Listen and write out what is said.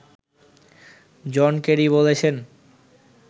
জন Kerry বলেছেন